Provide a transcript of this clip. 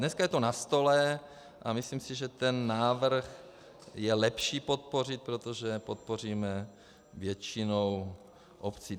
Dneska je to na stole a myslím si, že ten návrh je lepší podpořit, protože podpoříme většinu obcí.